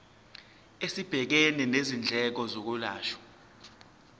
esibhekene nezindleko zokwelashwa